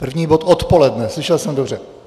První bod odpoledne, slyšel jsem dobře?